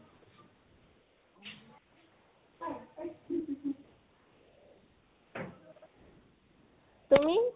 তুমি?